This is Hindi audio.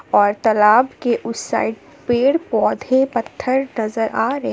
और तालाब के उसे साइड पेड़ पौधे पत्थर नजर आ रहे--